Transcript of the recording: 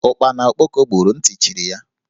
Ụkpana okpoko gburu, nti chiri ya